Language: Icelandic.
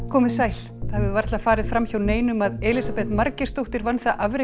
komið sæl það hefur varla farið fram hjá neinum að Elísabet Margeirsdóttir vann það afrek